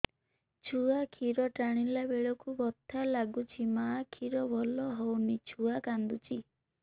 ଛୁଆ ଖିର ଟାଣିଲା ବେଳକୁ ବଥା ଲାଗୁଚି ମା ଖିର ଭଲ ହଉନି ଛୁଆ କାନ୍ଦୁଚି